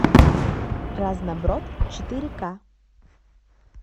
разноброд четыре ка